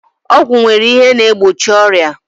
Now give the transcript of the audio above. Ọgwụ nwere ihe na egbochi ọrịa